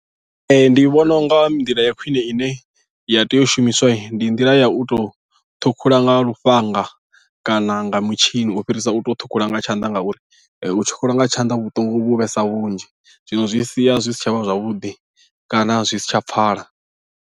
Ee ndi vhona u nga nḓila ya khwine ine ya tea u shumiswa ndi nḓila ya u tou ṱhukhula nga lufhanga kana nga mutshini u fhirisa u to ṱhukhula nga tshanḓa ngauri u tshi ṱhukhula nga tshanḓa vhuṱungu vhu vhesa vhunzhi zwino zwi sia zwi si tshavha zwavhuḓi kana zwi si tsha pfhala.